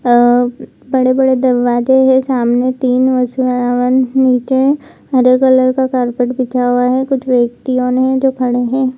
अ बड़े-बड़े दरवाजे हैं सामने तीन हवन नीचे हरे कलर का कारपेट बिछा हुआ है कुछ व्यक्तियों ने जो खड़े हैं।